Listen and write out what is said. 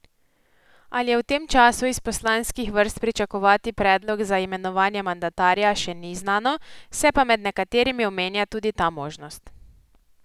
Ali je v tem času iz poslanskih vrst pričakovati predlog za imenovanje mandatarja, še ni znano, se pa med nekaterimi omenja tudi ta možnost.